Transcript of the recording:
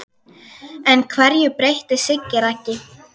En hverju breytti Siggi Raggi?